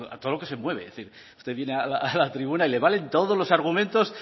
todo lo que se mueve es decir usted viene a la tribuna y le valen todos los argumentos